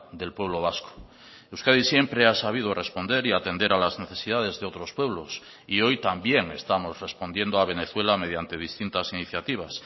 del pueblo vasco euskadi siempre ha sabido responder y atender a las necesidades de otros pueblos y hoy también estamos respondiendo a venezuela mediante distintas iniciativas